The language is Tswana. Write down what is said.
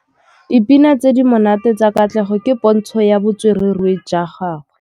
Dipina tse di monate tsa Katlego ke pôntshô ya botswerere jwa gagwe.